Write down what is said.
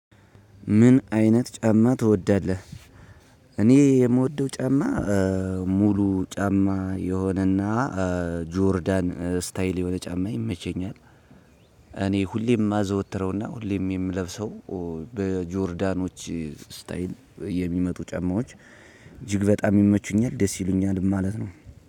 ምን አይነት ጫማ ትወዳለህ? እኔ የምወደው ጫማ ሙሉ ጫማ የሆነና ጆርዳን ስታይል የሆነ ጫማ ይመቸኛል። እኔ ሁሌ የማዘወትረው እና ሁሌም የምለብሰው በጆርዳኖች ስታይል የሚመጡ ጫማዎች እጅግ በጣም ይመቹኛል ደስ ይሉኛል ማለት ነው።